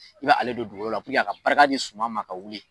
N ɲale don dugukolola a ka barika di suma ma ka wuli.